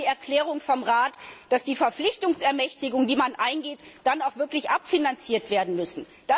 Wir hatten die Erklärung vom Rat, dass die Verpflichtungsermächtigungen, die man eingeht, dann auch wirklich abfinanziert werden müssen.